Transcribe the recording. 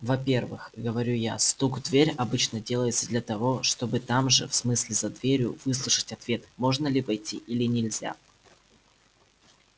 во-первых говорю я стук в дверь обычно делается для того чтобы там же в смысле за дверью выслушать ответ можно ли войти или нельзя